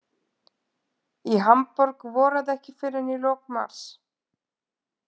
Í Hamborg voraði ekki fyrr en í lok mars.